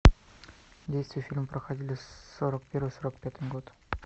действия фильма проходили сорок первый сорок пятый год